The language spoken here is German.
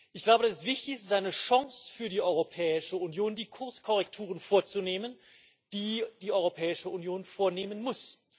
Ich glaube, dass es wichtig ist eine Chance für die Europäische Union die Kurskorrekturen vorzunehmen, die die Europäische Union vornehmen muss.